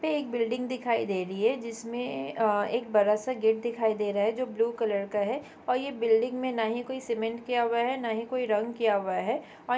पे एक बिल्डिंग दिखाई दे रही है जिसमें अ एक बड़ा सा गेट दिखाई दे रहा है जो ब्लू कलर का है और ये बिल्डिंग में न ही कोई सीमेंट किया हुआ है न ही कोई रंग किया हुआ है--